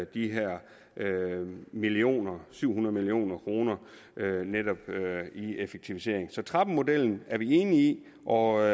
de her millioner syv hundrede million kr netop i effektivisering så trappemodellen er vi enige i og